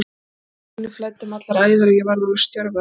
Adrenalínið flæddi um allar æðar og ég varð alveg stjörf af reiði.